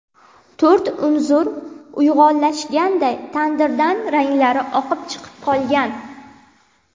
To‘rt unsur uyg‘unlashganday tandirdan ranglari oqib chiqib qolgan.